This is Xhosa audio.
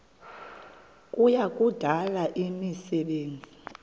kuya kudala imisebenzi